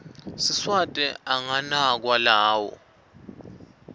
siswati anganakwa lawo